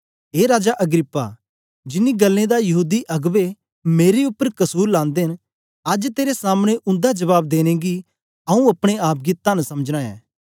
ए राजा अग्रिप्पा जिन्नी गल्लें दा यहूदी अगबें मेरे उपर कसुर लांदे न अज्ज तेरे सामने उन्दा जबाब देने गी आंऊँ अपने आप गी तन्न समझना ऐ